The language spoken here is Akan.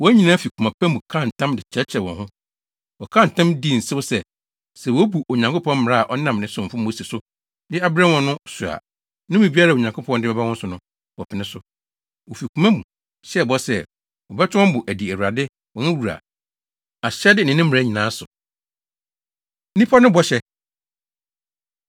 wɔn nyinaa fi koma pa mu kaa ntam de kyekyeree wɔn ho. Wɔkaa ntam dii nsew sɛ, sɛ wobu Onyankopɔn mmara a ɔnam ne somfo Mose so de abrɛ wɔn no so a, nnome biara a Onyankopɔn de bɛba wɔn so no, wɔpene so. Wofi koma mu hyɛɛ bɔ sɛ, wɔbɛtɔ wɔn bo adi Awurade, wɔn Wura, ahyɛde ne ne mmara nyinaa so. Nnipa No Bɔhyɛ